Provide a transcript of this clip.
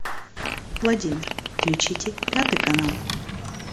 владимир включите пятый канал